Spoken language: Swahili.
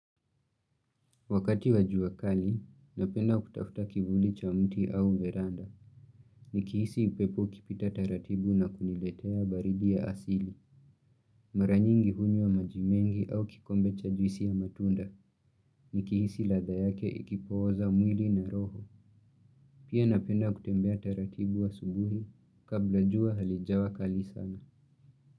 Wakati waj ua kali, napenda kutafuta kivuli cha mti au veranda. Nikihisi upepo ikipita taratibu na kuniletea baridi ya asili. Maran yingi hunywa majimengi au kikombe cha juisi ya matunda. Nikihisi ladha yake ikipooza mwili na roho. Pia napenda kutembea taratibu wa asubuhi kabla jua halijawa kali sana.